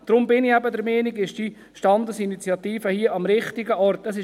Darum bin ich der Meinung, dass diese Standesinitiative hier am richtigen Ort ist.